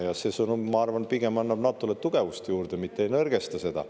Ja see sõnum, ma arvan, pigem annab NATO-le tugevust juurde, mitte ei nõrgesta seda.